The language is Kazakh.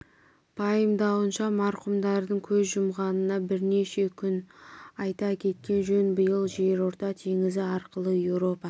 пайымдауынша марқұмдардың көз жұмғанына бірнеше күн өткен айта кеткен жөн биыл жерорта теңізі арқылы еуропа